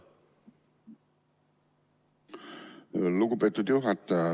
Lugupeetud juhataja!